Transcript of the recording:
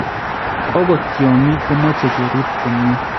Okot tyongiik komache kerib komye